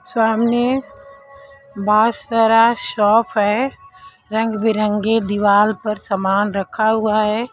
सामने बहुत सारा शॉप है रंग बिरंगे दीवाल पर सामान रखा हुआ है।